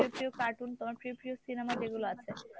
প্রিয় প্রিয় cartoon তোমার প্রিয় প্রিয় cinema যেগুলো আছে